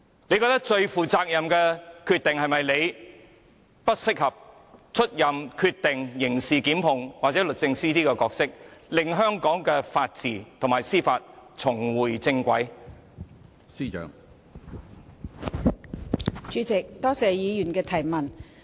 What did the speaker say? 就此，她會否認為自己不執掌刑事檢控決定，甚或不出任律政司司長，讓香港的法治和司法重回正軌，才是最負責任的決定？